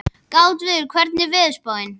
Gautviður, hvernig er veðurspáin?